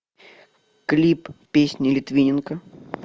клип песни литвиненко